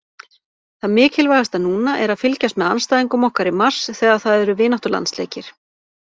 Það mikilvægasta núna er að fylgjast með andstæðingum okkar í mars þegar það eru vináttulandsleikir